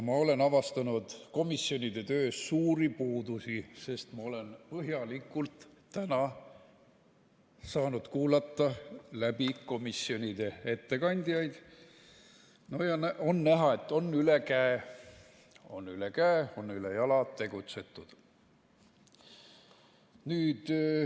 Ma olen avastanud komisjonide töös suuri puudusi, sest ma olen täna põhjalikult saanud kuulata komisjonide ettekandjaid ja on näha, et on ülejala tegutsetud.